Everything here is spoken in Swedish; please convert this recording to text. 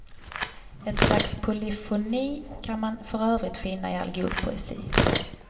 Ett slags polyfoni kan man för övrigt finna i all god poesi.